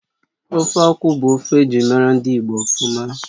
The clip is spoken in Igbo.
Ofe akwụ bụ ofe ejirimara ndị Igbo ofuma